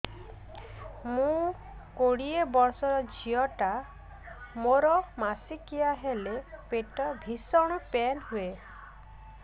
ମୁ କୋଡ଼ିଏ ବର୍ଷର ଝିଅ ଟା ମୋର ମାସିକିଆ ହେଲେ ପେଟ ଭୀଷଣ ପେନ ହୁଏ